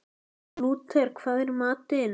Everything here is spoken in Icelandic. Lúter, hvað er í matinn?